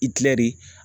I tila de